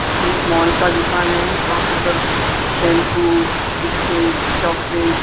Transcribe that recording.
एक मॉल का दुकान है वहां पे सब शैंपू बिस्किट चॉकलेट --